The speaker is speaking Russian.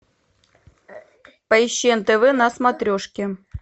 поищи нтв на смотрешке